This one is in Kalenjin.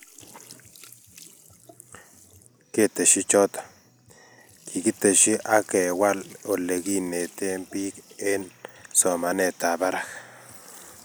keteshi choto, kigeteshi ak kewal olegineten biik eng somanetab barak